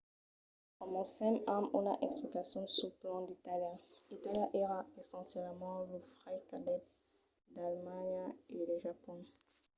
comencem amb una explicacion suls plans d'itàlia. itàlia èra essencialament lo fraire cabdèt d'alemanha e de japon